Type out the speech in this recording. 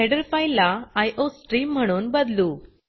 header फाइलला iostream म्हणून बदलू